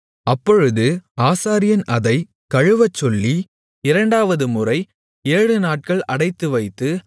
அப்பொழுது ஆசாரியன் அதைக் கழுவச்சொல்லி இரண்டாவதுமுறை ஏழுநாட்கள் அடைத்துவைத்து